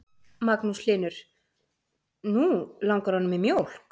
Magnús Hlynur: Nú langar honum í mjólk?